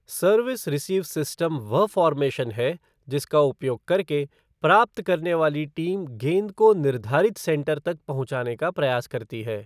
Service receive system वह formation है जिसका उपयोग करके प्राप्त करने वाली टीम गेंद को निर्धारित सेटर तक पहुँचाने का प्रयास करती है।